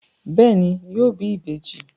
Bẹẹni, yóò bí ìbejì